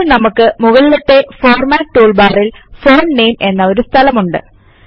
ഇപ്പൊൾ നമുക്ക് മുകളിലത്തെ ഫോർമാറ്റ് ടൂൾബാറിൽ ഫോണ്ട് നാമെ എന്ന ഒരു സ്ഥലമുണ്ട്